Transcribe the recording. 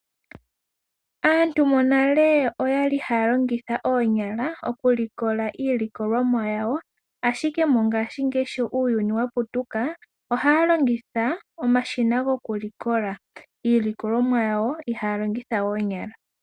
Aantu monale okwali haya longitha oonyala mokulikoka iilikolomwa yawo, ashike mongaashingeyi sho uuyuni yaputuka, ohaya longitha omashina gokulikola iilikolomwa yawo ihaya longitha we oonyala.